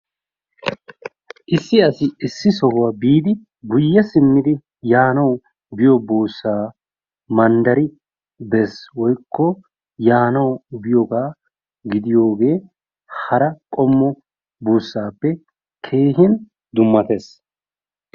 Issi asi issi sohuwa biidi guye simmidi yaanawu biyo buussaa manddari bees woykko yaanawu biyogaa giddiyogee hara qommo buussaappe keehin dummattees.